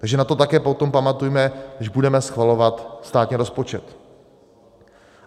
Takže na to také potom pamatujme, když budeme schvalovat státní rozpočet.